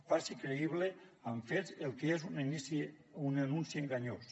faci creïble amb fets el que és un anunci enganyós